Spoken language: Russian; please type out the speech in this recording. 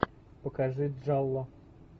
покажи джалло